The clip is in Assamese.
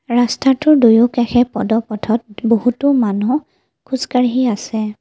ৰাস্তাটোৰ দুয়ো কাষে পদ পথত বহুতো মানুহ খোজকাঢ়ি আছে।